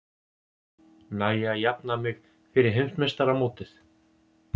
Næ ég að jafna mig fyrir heimsmeistaramótið?